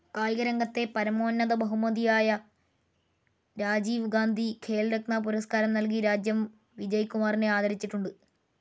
കായിക രംഗത്തെ പരമോന്നത ബഹുമതിയായ രാജീവ് ഗാന്ധി ഖേൽരത്ന പുരസ്കാരം നൽകി രാജ്യം വിജയ്‌ കുമാറിനെ ആദരിച്ചിട്ടുണ്ട്‌